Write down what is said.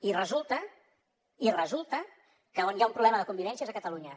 i resulta i resulta que on hi ha un problema de convivència és a catalunya